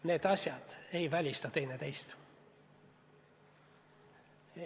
Need asjad ei välista teineteist.